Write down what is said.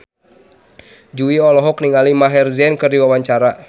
Jui olohok ningali Maher Zein keur diwawancara